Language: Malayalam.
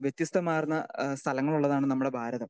സ്പീക്കർ 2 വ്യത്യസ്തമാർന്ന സ്ഥലങ്ങൾ ഉള്ളതാണ് നമ്മുടെ ഭാരതം.